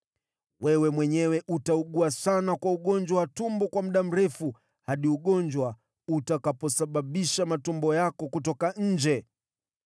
Wewe mwenyewe utaugua sana kwa ugonjwa wa tumbo kwa muda mrefu, hadi ugonjwa utakaposababisha matumbo yako kutoka nje.’ ”